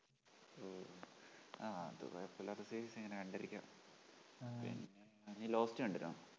ആ അത് കൊഴപ്പോല്ലാത്ത series, ഇങ്ങനെ കണ്ടിരിക്കാം ആ നീ lost കണ്ടിരുന്നോ?